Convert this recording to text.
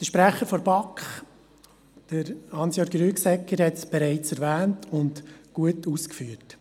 Der Sprecher der BaK, Hans Jörg Rüegsegger, hat es bereits erwähnt und gut ausgeführt.